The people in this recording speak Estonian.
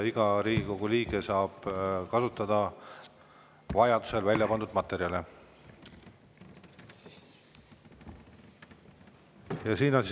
Iga Riigikogu liige saab vajadusel neid välja pandud materjale kasutada.